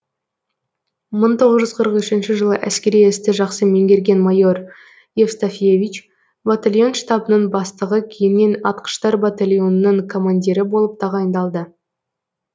мың тоғыз жүз қырық үшінші жылы әскери істі жақсы меңгерген майор евстафьевич батальон штабының бастығы кейіннен атқыштар батальонының командирі болып тағайындалды